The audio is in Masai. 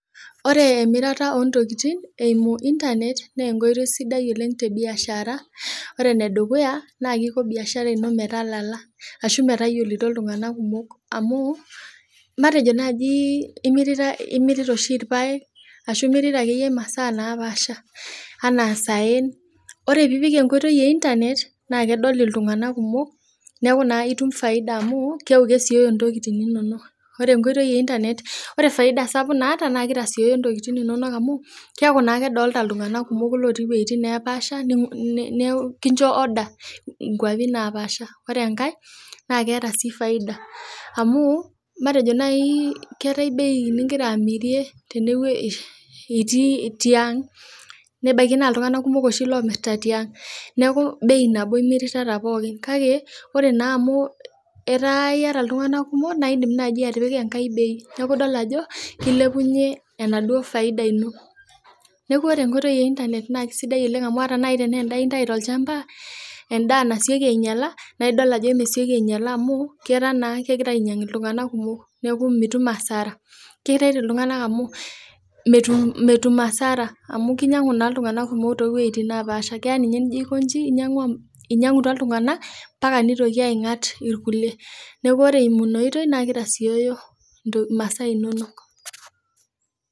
Ore emirata oontokitin eeimu intanet, naa enkoitoi sidai oleng te biashara, ore ene dukuya naa kisho biashara ino metalala ashu metayioli iltung'anak kumok amuu matejo naaji mirita oshi irpaek ashu imirita masaa kumok oleng anaa isaen ore tenip enkoitoi e intanet naa kedol iltung'anak kumok, neeku naa itumia faida amu keeku kesioyo ntokitin inono amu kedol iltung'anak kumok. Ore faida naata naa keeku naa kedol iltung'anak kumok otii iwuejitin neepaasha nincho order nkuapi naapasha. Ore enkae naa keeta faida, matejo naaji imirita tiaang nebaiki naaji nimiritata irara kumok bei nabo kake ore naa amu iyata iltung'anak kumok, nindim naaji atipikaki ninche enkae bei nitum faida. Ore enkoitoi e intanet naa kisaidia oleng ore ninye teniyata endaa nainyala to lchamba neetaa imirr asioki anbaka neishari ntokitin inono ampaka ninye neing'atisho naa keeku mitum asara mitum asara neeku ore eeimu ina oitoi naa kitasiooyo masaa inonok.